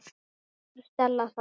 Hvernig hefur Stella það?